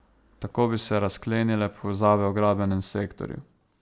Tako bi se razklenile povezave v gradbenem sektorju.